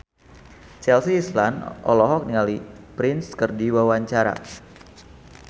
Chelsea Islan olohok ningali Prince keur diwawancara